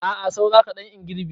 A'a saura kaɗan in girbe.